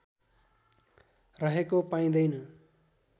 रहेको पाइँदैन